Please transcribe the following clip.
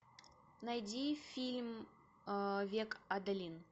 найди фильм век адалин